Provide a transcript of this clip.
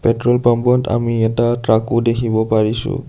Petrol pump ত আমি এটা ট্ৰাক ও দেখিব পাৰিছোঁ।